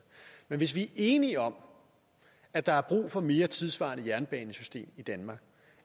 men hvis vi er enige om at der er brug for et mere tidssvarende jernbanesystem i danmark